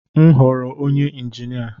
M goro onye injinia.